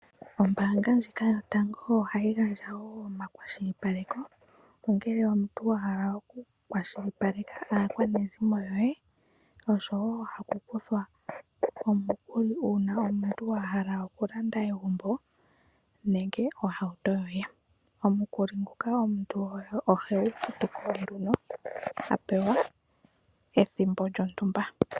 Ombanga ndjika yotango ohayi gandja wo omakwashilipaleko ,ongele omuntu wa hala oku kwashilipaleka akwanezimo yohe oshowo aku kuthwa omikuli uuna omuntu wa hala oku landa egumbo nenge ohauto yoye. Omukuli nguka omuntu ohe gu futuko nduno hapewa ethimbo lyontumba .